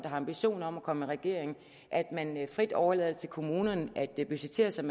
har ambitioner om at komme i regering om at man frit overlader det til kommunerne at budgettere som